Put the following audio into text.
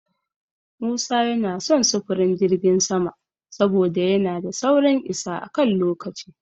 Musa yana son sufurin jirgin sama saboda yana da saurin isa a kan lokaci.